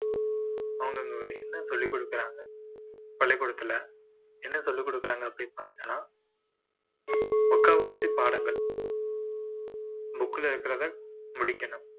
அவங்க அங்க வேற என்ன சொல்லிக்கொடுக்குறாங்க பள்ளிக்கூடத்துல என்ன சொல்லிக்கொடுக்கிறாங்க அப்படீன்னு பாத்தீங்கன்னா முக்காவாசி பாடங்கள் book ல இருக்கிறத முடிக்கணும்